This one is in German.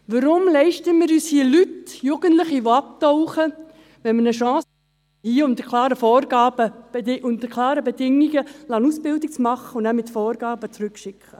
Weshalb leisten wir uns hier Leute, Jugendliche, die abtauchen, anstatt dass wir ihnen hier eine Chance geben, indem wir sie unter klaren Bedingungen eine Ausbildung machen lassen und sie mit klaren Vorgaben zurückschicken?